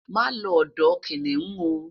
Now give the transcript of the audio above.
ma lo odò kiniun o